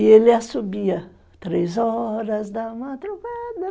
E ele assovia: três horas da madrugada...